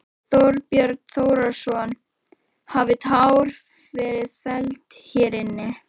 Þorbjörn Þórðarson: Hafa tár verið felld hér inni?